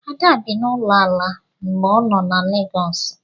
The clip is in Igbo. Ada bi n'ụlọ ala mgbe ọ nọ na Legọọsụ.